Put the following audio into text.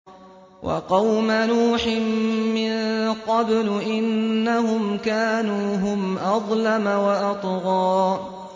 وَقَوْمَ نُوحٍ مِّن قَبْلُ ۖ إِنَّهُمْ كَانُوا هُمْ أَظْلَمَ وَأَطْغَىٰ